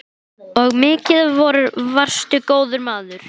Og mikið varstu góður maður.